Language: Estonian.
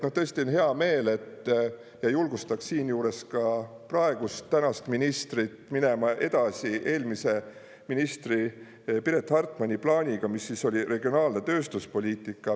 Tõesti on hea meel, ja julgustaks siinjuures ka praegust, tänast ministrit minema edasi eelmise ministri Piret Hartmani plaaniga, mis oli regionaalne tööstuspoliitika.